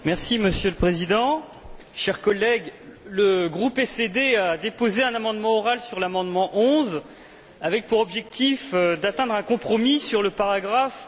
Monsieur le Président, chers collègues, le groupe SD a déposé un amendement oral sur l'amendement 11 avec pour objectif d'atteindre un compromis sur le paragraphe